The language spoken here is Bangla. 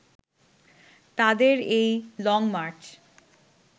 তাদের এই লংমার্চ